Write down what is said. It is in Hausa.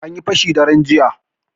Anyi fashi daren jiya.